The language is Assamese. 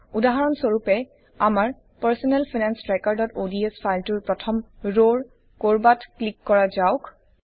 উদাহৰণ স্বৰূপে আমাৰ পাৰ্চনেল ফাইনেন্স trackerঅডছ ফাইলটোৰ প্ৰথম ৰৰ কৰবাত ক্লিক কৰা যাওঁক